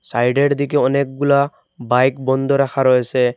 সাইডের দিকে অনেকগুলা বাইক বন্ধ রাখা রয়েছে।